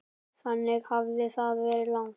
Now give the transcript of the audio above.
Þannig hafði það verið lengi.